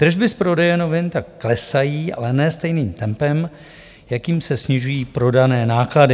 Tržby z prodeje novin tak klesají, ale ne stejným tempem, jakým se snižují prodané náklady.